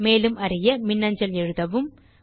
மேலும் அறிய மின்னஞ்சல் செய்யவும்